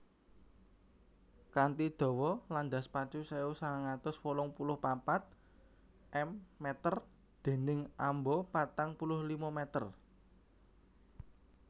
Kanthi dawa landas pacu sewu sangang atus wolung puluh papat m dèning amba patang puluh limo m